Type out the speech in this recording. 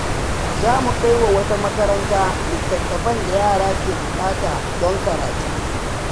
Za mu kai wa wata makaranta littattafan da yara ke buƙata don karatu.